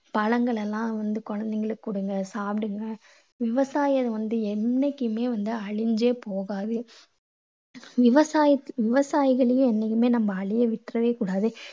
பழங்கள் எல்லாம் வந்து குழந்தைங்களுக்கு கொடுங்க, சாப்பிடுங்க. விவசாயம் வந்து என்னைக்குமே அழிஞ்சே போகாது. விவசாயி~ விவசாயிகளையும் இனிமே நம்ம அழிய விட்டுடவே கூடாது.